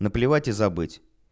наплевать и забыть